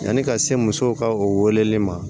Yani ka se musow ka o weleli ma